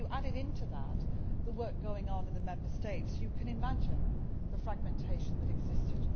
If you add into that the work going on in the Member States, you can imagine the fragmentation that existed.